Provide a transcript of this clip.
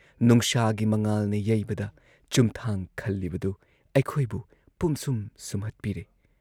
ꯅꯨꯡꯁꯥꯒꯤ ꯃꯉꯥꯜꯅ ꯌꯩꯕꯗ ꯆꯨꯝꯊꯥꯡ ꯈꯜꯂꯤꯕꯗꯨ ꯑꯩꯈꯣꯏꯕꯨ ꯄꯨꯝꯁꯨꯝ ꯁꯨꯝꯍꯠꯄꯤꯔꯦ ꯫